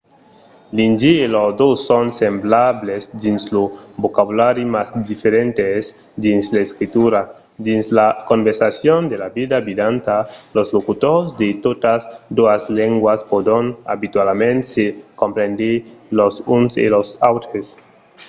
l'indi e l'ordó son semblables dins lo vocabulari mas diferents dins l'escritura; dins las conversacions de la vida vidanta los locutors de totas doas lengas pòdon abitualament se comprendre los uns e los autres